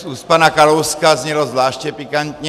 Z úst pana Kalouska znělo zvláště pikantně.